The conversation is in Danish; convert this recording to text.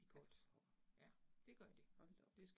Ja og ja. Hold da op